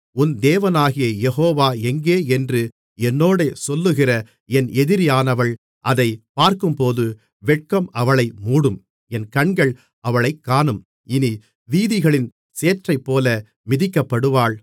உன் தேவனாகிய யெகோவா எங்கே என்று என்னோடே சொல்லுகிற என் எதிரியானவள் அதைப் பார்க்கும்போது வெட்கம் அவளை மூடும் என் கண்கள் அவளைக் காணும் இனி வீதிகளின் சேற்றைப்போல மிதிக்கப்படுவாள்